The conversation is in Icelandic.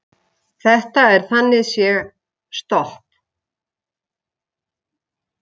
Þetta er þannig séð stopp